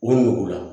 O nugu la